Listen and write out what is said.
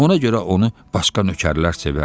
Ona görə onu başqa nökərlər sevərdi.